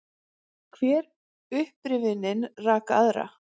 Hver upprifjunin rak aðra.